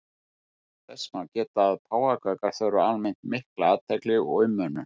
Þess má geta að páfagaukar þurfa almennt mikla athygli og umönnun.